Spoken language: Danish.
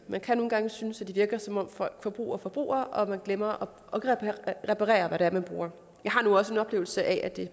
man kan nogle gange synes at det virker som om folk forbruger og forbruger og at man glemmer at reparere hvad det er man bruger men jeg har nu også en oplevelse af at det